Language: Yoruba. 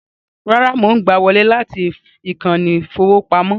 Rárá, mò ń gbà á wọlé láti ìkànnì ìfowópamọ́